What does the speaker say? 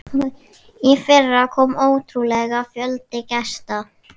Í fyrra kom ótrúlegur fjöldi gesta.